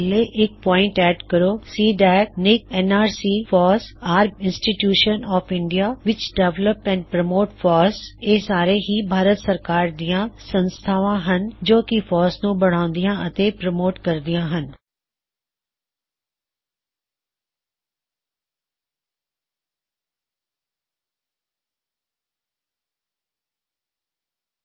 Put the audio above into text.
ਥੱਲੇ ਇਕ point add ਕਰੋ C DAC NIC N R C FOSS cdacnicnrc FOSS are institutions of India ਵਿੱਚ develop and promote FOSS ਇਹ ਸਾਰੇ ਹੀ ਭਾਰਤ ਸਰਕਾਰ ਦੀਆਂ ਸੰਸਥਾ ਹੱਨ ਜੋ ਕੀ ਫੌੱਸ ਨੂੰ ਬਣਾਉਂਦਿਆ ਅਤੇ ਪਰੋਮੋਟ ਕਰਦੀਆ ਹੱਨ